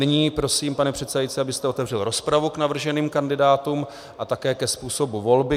Nyní prosím, pane předsedající, abyste otevřel rozpravu k navrženým kandidátům a také ke způsobu volby.